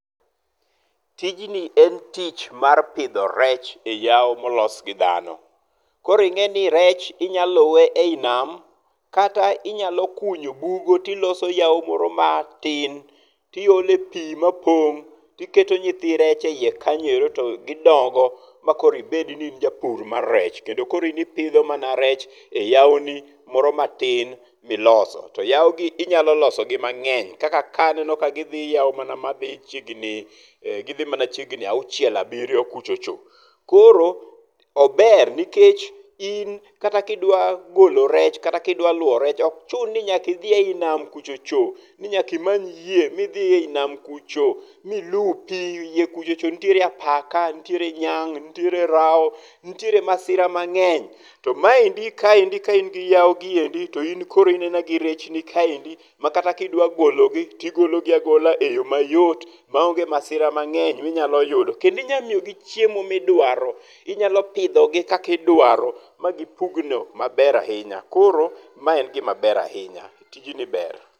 Tijni en tich mar pidho rech e yawo molos gi dhano. Koro ing'eni rech inyaluwe iyi nam kata inyalo kunyo bugo to iloso yawo moro matin tiole pi mapong' tiketo nythi rech eyie kanyo ero to gidongo makoro ibed ni in japur mar rech kendo koro in ipidho mana rech e yawo ni moro matin miloso. To yawo gi inyalo loso gi mang'eny kaka ka aneno ka gidhi yawo mana madhi chiegni gidhi mana chiegni auchiel [6] abiriyo [7] kuchocho. Koro ober nikech in kata kidwa golo rech kata ka idwa luwo rech ok chun ni nyaka idhi e yi nam kuchocho. Ni nyaka imany yie midh e yi nam kuchocho milupi. Yie kuchocho nitiere apaka, nitiere nyang', nitiere rawo, nitiere masira mang'eny. To maendi kaendi ka in gi yawo giendi to in koro in aina gi rechni kaendi makata ka idwa gologi to igologi agola e yo mayot maonge masira mang'eny ma inyalo yudo. Kendo inyalo miyo gi chiemo midwaro. Inyalo pidho gi kaka idwaro ma gipugno maber ahinya. Koro ma en gima ber ahinya. Tijni ber.